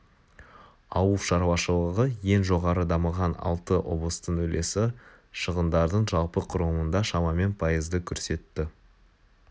ауыл шарушылығы ең жоғары дамыған алты облыстың үлесі шығындардың жалпы құрылымында шамамен пайызды көрсетті